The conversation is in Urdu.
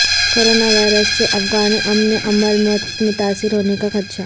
کرونا وائرس سے افغان امن عمل متاثر ہونے کا خدشہ